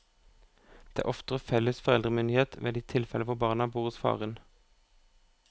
Det er oftere felles foreldremyndighet ved de tilfeller hvor barna bor hos faren.